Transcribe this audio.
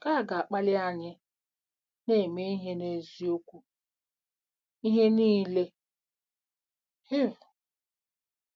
Nke a ga-akpali anyị “na-eme ihe n’eziokwu n’ihe niile.”—Hib.